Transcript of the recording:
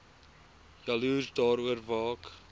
jaloers daaroor waak